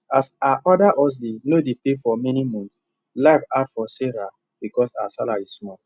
as her other hustle no dey pay for many months life hard for sarah because her salary small